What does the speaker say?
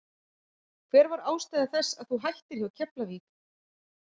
Hver var ástæða þess að þú hættir hjá Keflavík?